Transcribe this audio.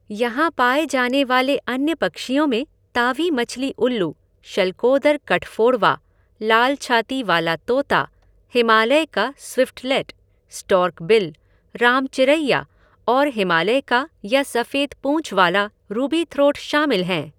यहाँ पाए जाने वाले अन्य पक्षियों में तावी मछली उल्लू, शल्कोदर कठफोड़वा, लाल छाती वाला तोता, हिमालय का स्विफ़्टलेट, स्टॉर्क बिल, राम चिरैया और हिमालय का या सफेद पूँछ वाला रूबीथ्रोट शामिल हैं।